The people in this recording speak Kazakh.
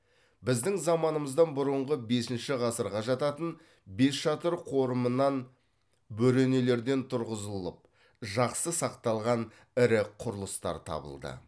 біздің заманымыздан бұрынғы бесінші ғасырға жататын бесшатыр қорымынан бөренелерден тұрғызылылып жақсы сақталған ірі құрылыстар табылды